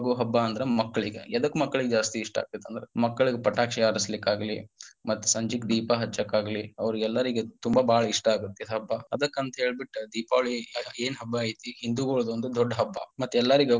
ಹಬ್ಬ ಅಂದ್ರ ಮಕ್ಕಳೀಗ, ಎದಕ್ಕ ಮಕ್ಕಳೀಗ ಜಾಸ್ತಿ ಇಷ್ಟ ಅಕ್ಕೆತಂದ್ರ ಮಕ್ಕಳೀಗ ಪಟಾಕ್ಷಿ ಹಾರಸಲಿಕ್ಕಾಗಲಿ ಮತ್ತ ಸಂಜಿಕ ದೀಪಾ ಹಚ್ಚಕಾಗ್ಲಿ ಅವ್ರಿಗೆಲ್ಲರಿಗೆ ತುಂಬಾ ಬಾಳ ಇಷ್ಟ ಆಗತ್ತ ಈ ಹಬ್ಬ ಅದ್ಕಂತ ಹೇಳ್ಬಿಟ್ಟ ದೀಪಾವಳಿ ಏನ ಹಬ್ಬ ಐತಿ ಹಿಂದುಗೊಳದೊಂದ ದೊಡ್ಡ ಹಬ್ಬ ಮತ್ತ ಎಲ್ಲರಿಗ.